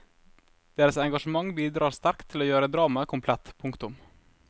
Deres engasjement bidrar sterkt til å gjøre dramaet komplett. punktum